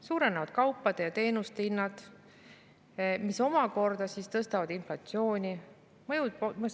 Suurenevad kaupade ja teenuste hinnad, mis omakorda tõstavad inflatsiooni.